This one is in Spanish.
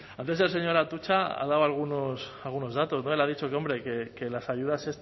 antes el señor atutxa ha dado algunos datos él ha dicho que hombre que las ayudas